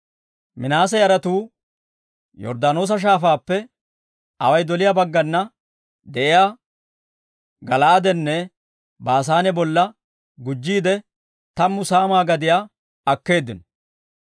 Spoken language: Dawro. Minaase yaratuu Yorddaanoosa Shaafaappe away doliyaa baggana de'iyaa Gala'aadenne Baasaane bolla gujjiide, tammu saamaa gadiyaa akkeeddino.